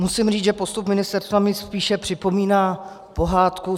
Musím říci, že postup ministerstva mi spíše připomíná pohádku